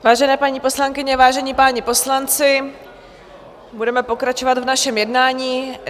Vážené paní poslankyně, vážení páni poslanci, budeme pokračovat v našem jednání.